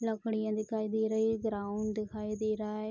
लड़कियां दिखाई दे रही है। ग्राउंड दिखाई दे रहा है।